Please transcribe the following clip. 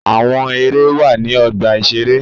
Àwọn Ère wà ní ọgbà-ìṣeré